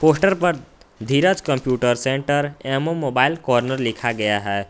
Poster पर Dheeraj computer centre एवं mobile corner लिखा गया है।